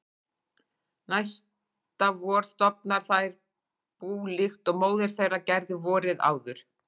Næsta vor stofna þær bú líkt og móðir þeirra gerði vorið áður.